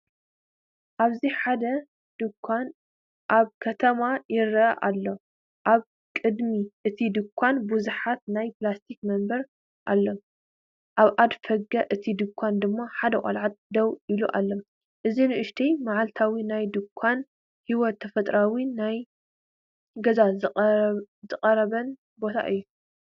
ኣብዚ ሓደ ድኳን ኣብ ከተማ ይርአ ኣሎ ኣብ ቅድሚ እቲ ድኳን ብዙሓት ናይ ፕላስቲክ መንበር ኣለዋ፡ኣብ ኣፍደገ እቲ ድኳን ድማ ሓደ ቆልዓ ደው ኢሉ ኣሎ። እዚ ንእሽቶ፡መዓልታዊ ናይ ድኳን ህይወት፡ ተፈጥሮኣዊን ናብ ገዛ ዝቐረበን ቦታ እዩ።